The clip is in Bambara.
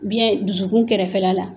Biyɛn dusukun kɛrɛfɛla la